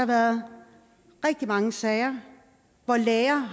været rigtig mange sager hvor læger